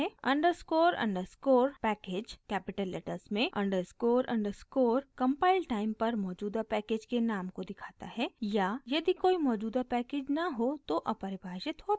underscore underscore package capital letters में underscore underscore compile time पर मौजूदा पैकेज के नाम को दिखाता है या यदि कोई मौजूदा पैकेज न हो तो अपरिभषित होता है